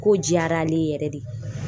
Ko diyara ale ye yɛrɛ de